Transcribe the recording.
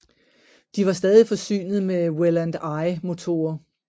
De var stadig forsynet med Welland I motorer